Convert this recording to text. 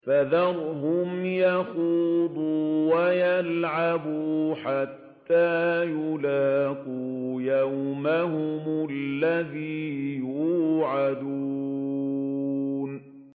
فَذَرْهُمْ يَخُوضُوا وَيَلْعَبُوا حَتَّىٰ يُلَاقُوا يَوْمَهُمُ الَّذِي يُوعَدُونَ